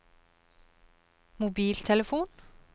mobiltelefon